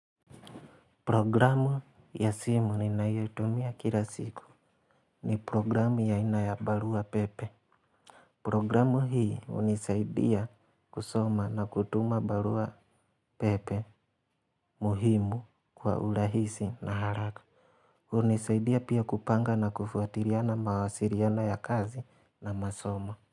Programu ya simu ninayotumia kila siku ni programu ya aina ya barua pepe. Programu hii hunisaidia kusoma na kutuma barua pepe muhimu kwa urahisi na haraka. Hunisaidia pia kupanga na kufuatiliana mawasiliano ya kazi na masomo.